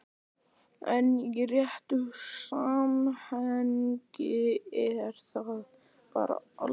En í réttu samhengi er það bara aldur.